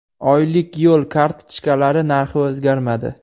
Oylik yo‘l kartochkalari narxi o‘zgarmadi.